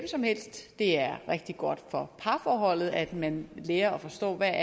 som helst det er rigtig godt for parforholdet at man lærer at forstå hvad